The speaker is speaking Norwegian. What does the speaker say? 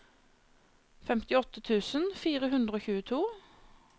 femtiåtte tusen fire hundre og tjueto